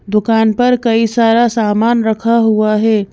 दुकान पर कई सारा सामान रखा हुआ है।